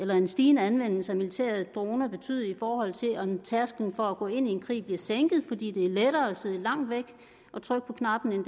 hvad en stigende anvendelse af militære droner vil betyde i forhold til om tærsklen for at gå ind i en krig bliver sænket fordi det er lettere at sidde langt væk og trykke på knappen end